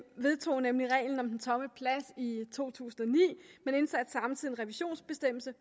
vedtog nemlig reglen om den tomme plads i to tusind og ni men indsatte samtidig en revisionsbestemmelse